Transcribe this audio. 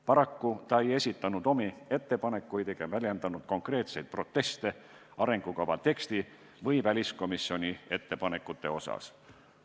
Paraku ta ei esitanud omi ettepanekuid ega väljendanud konkreetseid proteste arengukava teksti või väliskomisjoni ettepanekute osas.